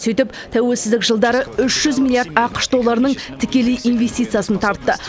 сөйтіп тәуелсіздік жылдары үш жүз миллиард ақш долларының тікелей инвестициясын тартты